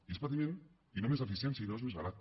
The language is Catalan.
i és patiment i no més eficiència i no és més barat